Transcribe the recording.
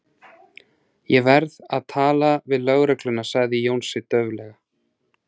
Ég verð að tala við lögregluna sagði Jónsi dauflega.